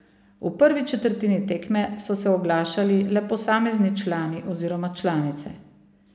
V prvi četrtini tekme so se oglašali le posamezni člani oziroma članice.